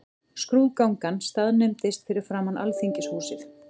Skrúðgangan staðnæmdist fyrir framan Alþingishúsið.